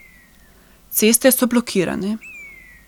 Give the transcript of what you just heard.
Ceste so blokirane.